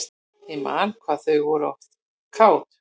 Ég man hvað þau voru oft kát.